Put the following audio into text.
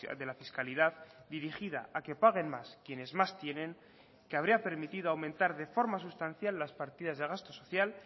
de la fiscalidad dirigida a que paguen más quienes más tienen que habría permitido aumentar de forma sustancial las partidas de gasto social